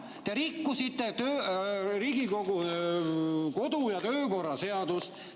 Te rikkusite Riigikogu kodu‑ ja töökorra seadust.